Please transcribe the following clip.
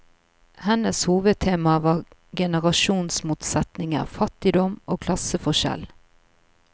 Hennes hovedtemaer var generasjonsmotsetninger, fattigdom og klasseforskjell.